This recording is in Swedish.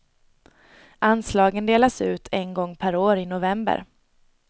Anslagen delas ut en gång per år i november.